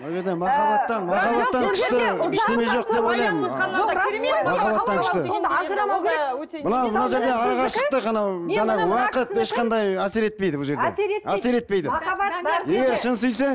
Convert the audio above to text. уақыт ешқандай әсер етпейді бұл жерде әсер етпейді егер шын сүйсең